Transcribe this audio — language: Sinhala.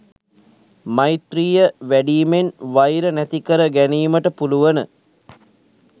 මෛත්‍රීය වැඩීමෙන් වෛර නැති කර ගැනීමට පුළුවන.